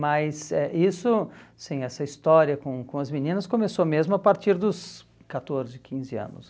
Mas isso eh, sim, essa história com com as meninas começou mesmo a partir dos catorze, quinze anos.